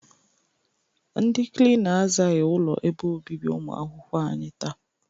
Ndị Klina azaaghị ụlọ ebe obibi ụmụakwụkwọ anyị taa.